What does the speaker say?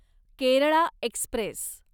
Kerala Express